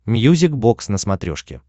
мьюзик бокс на смотрешке